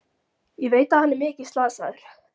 Ég veit að hann er mikið slasaður.